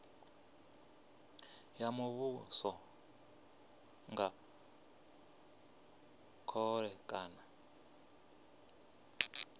ya muvhuso nga khole kana